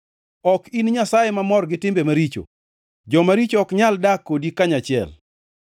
Ok in Nyasaye mamor gi timbe maricho. Joma richo ok nyal dak kodi kanyachiel.